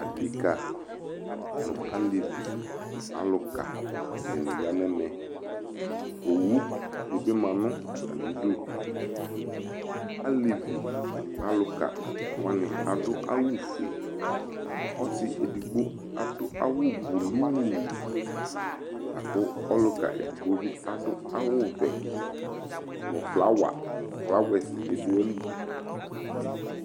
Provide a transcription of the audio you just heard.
Adeka nʋ alevi nʋ alʋka di ni ya nʋ ɛmɛ Owu di bi ma nʋ atami idu Alevi nʋ alʋka wani adʋ awʋ fue Ɔsi edigbo adʋ awʋ bʋlʋʋ la kʋ ɔlʋka edigbo bi adʋ awʋ vɛ nʋ flawa, flawɛsi bi dʋ ayili